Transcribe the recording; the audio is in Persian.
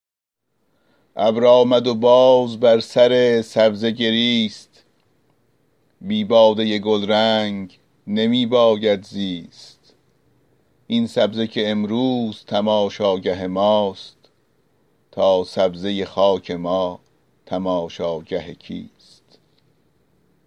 ابر آمد و باز بر سر سبزه گریست بی باده گلرنگ نمی باید زیست این سبزه که امروز تماشاگه ماست تا سبزه خاک ما تماشاگه کیست